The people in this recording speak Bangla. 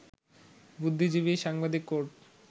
বুদ্ধিজীবী, সাংবাদিক, কোর্ট